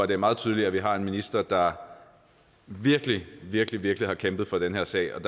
det er meget tydeligt at vi har en minister der virkelig virkelig virkelig har kæmpet for den her sag og